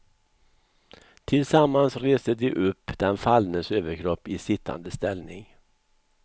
Tillsammans reste de upp den fallnes överkropp i sittande ställning.